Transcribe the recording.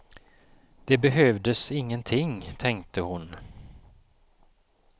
Det behövdes ingenting, tänkte hon.